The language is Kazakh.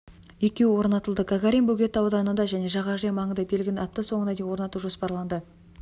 екеуі орнатылды гагарин бөгеті ауданында және жағажай маңында белгіні апта соңына дейін орнату жоспарланды